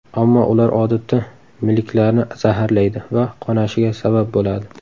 Ammo ular odatda milklarni zararlaydi va qonashiga sabab bo‘ladi.